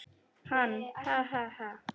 Hann: Ha ha ha.